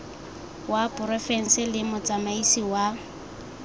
wa porofense le motsamaisi wa